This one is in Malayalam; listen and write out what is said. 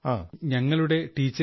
from our teachers